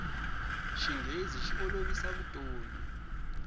xinghezi xi olovisa vutomi